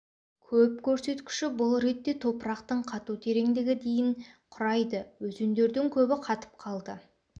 көп көрсеткіші бұл ретте топырақтың қату тереңдігі дейін құрайды өзендердің көбі қатып қалды